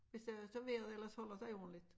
Hvis øh så vejret ellers holder sig ordentligt